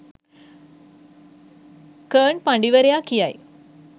කර්න් පඬිවරයා කියයි.